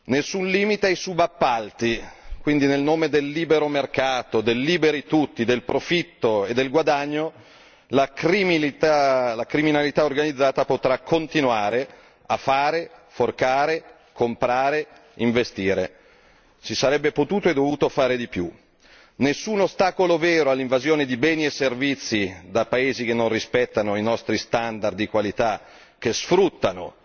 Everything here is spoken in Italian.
Nessun limite ai subappalti, quindi nel nome del libero mercato, del liberi tutti, del profitto e del guadagno, la criminalità organizzata potrà continuare a fare, comprare, investire. Si sarebbe potuto e dovuto fare di più. Nessun ostacolo vero all'invasione di beni e servizi da paesi che non rispettano i nostri standard di qualità e che sfruttano